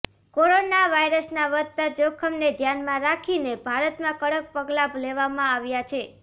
corona વાયરસના વધતા જોખમને ધ્યાનમાં રાખીને ભારતમાં કડક પગલા લેવામાં આવ્યા છે